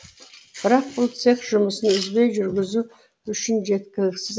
бірақ бұл цех жұмысын үзбей жүргізу үшін жеткіліксіз